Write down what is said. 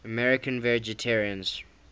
american vegetarians